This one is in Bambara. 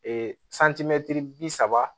bi saba